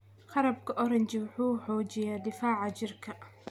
Qarabka oranji wuxuu xoojiyaa difaaca jirka.